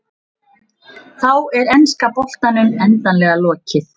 Þá er enska boltanum endanlega lokið.